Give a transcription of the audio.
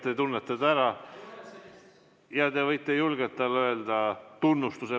Te tunnete ta ära ja te võite julgelt talle öelda tunnustuse.